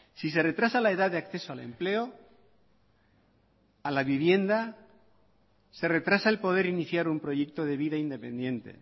si se retrasa la edad de acceso al empleo a la vivienda se retrasa el poder iniciar un proyecto de vida independiente